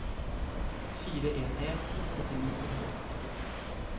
fire en en seks trettini to hundre og førtito